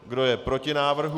Kdo je proti návrhu?